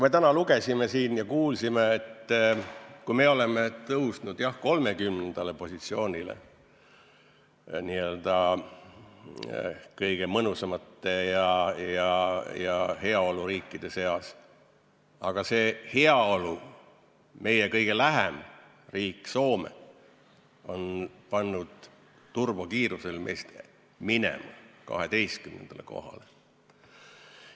Me täna siin lugesime ja kuulsime, et me oleme tõusnud, jah, 30. positsioonile n-ö kõige mõnusamate, heaoluriikide seas, aga meile kõige lähem heaoluriik Soome on pannud turbokiirusel meil eest minema, 12. kohale.